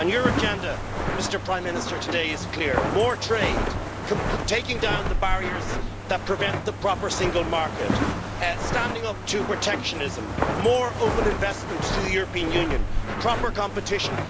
Your agenda, Prime Minister, today is clear more trade, taking down the barriers that prevent the proper single market, standing up to protectionism, more open investment to the European Union, and proper competition.